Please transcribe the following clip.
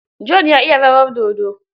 John ya iya rawar dodo.